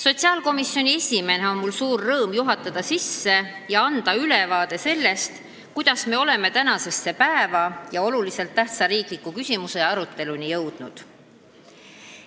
Sotsiaalkomisjoni esimehena on mul suur rõõm juhatada arutelu sisse ja anda ülevaade sellest, kuidas me oleme tänasesse päeva ja oluliselt tähtsa riikliku küsimuse aruteluni jõudnud.